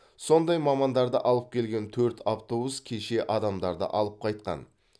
сондай мамандарды алып келген төрт автобус кеше адамдарды алып қайтқан